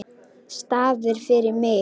Staðir fyrir mig.